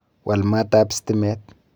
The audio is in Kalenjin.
Wal maat ab stimet.